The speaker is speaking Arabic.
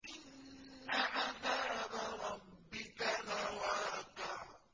إِنَّ عَذَابَ رَبِّكَ لَوَاقِعٌ